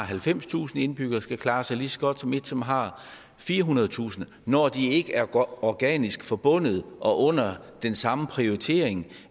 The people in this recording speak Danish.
halvfemstusind indbyggere skal klare sig lige så godt som et som har firehundredetusind når de ikke er organisk forbundet og under den samme prioritering